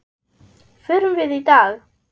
Förum við í dag?